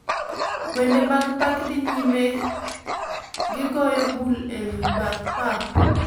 Wende mag pak dhi nyime gi goyo bul e path pap.